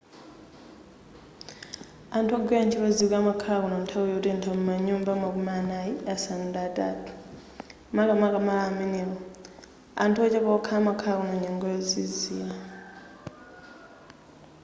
anthu ogwira ntchito zikwi amakhala kuno nthawi yotentha mu manyumba makumi anayi asanu ndi atatu makamaka malo amenewo anthu ochepa okha amakhala kuno nyengo yozizira